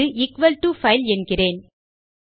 அது equal to file என்கிறேன்